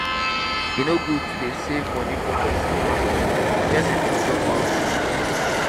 e no good to dey save money for pesin hand. di pesin fit chop am.